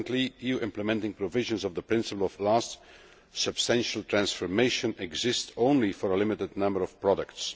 Currently, EU implementing provisions on the principle of last substantial transformation exist only for a limited number of products.